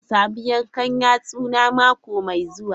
Zan samu yankan yatsuna mako mai zuwa.